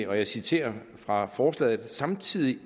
og jeg citerer fra forslaget samtidig